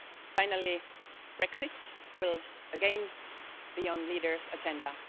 Finally, Brexit will again be on leaders' agenda.